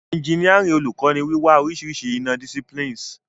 Engineering Oluko ni wiwa orisirisi ina- disciplines.